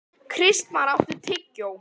Kristmar, áttu tyggjó?